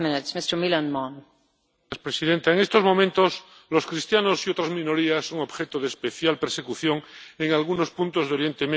Señor presidente, en estos momentos, los cristianos y otras minorías son objeto de especial persecución en algunos puntos de Oriente Medio y África.